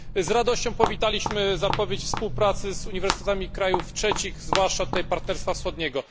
Z radością powitaliśmy zapowiedź współpracy z uniwersytetami krajów trzecich, zwłaszcza tych z Partnerstwa Wschodniego.